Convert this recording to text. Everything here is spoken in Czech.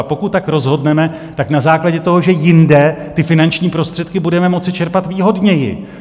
A pokud tak rozhodneme, tak na základě toho, že jinde ty finanční prostředky budeme moci čerpat výhodněji.